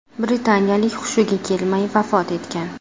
Britaniyalik hushiga kelmay vafot etgan.